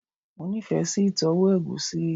Mo nife si itowo egusi